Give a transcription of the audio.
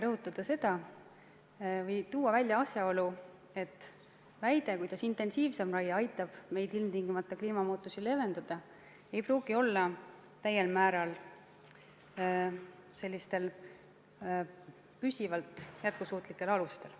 Ma tahan sellega tuua välja asjaolu, et väide, et intensiivsem raie aitab meil ilmtingimata kliimamuutusi leevendada, ei pruugi tugineda täiel määral püsivale alusele.